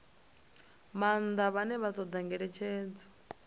maanḓa vhane vha ṱoḓa ngeletshedzo